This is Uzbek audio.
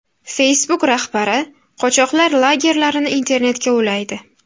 Facebook rahbari qochoqlar lagerlarini internetga ulaydi.